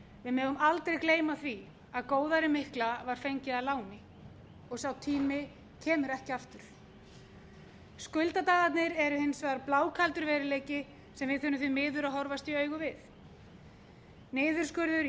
megum aldrei gleyma því að góðærið mikla var fengið að láni og sá tími kemur ekki aftur skuldadagarnir eru hins vegar blákaldur veruleiki sem við þurfum því miður að horfast í augu við niðurskurður í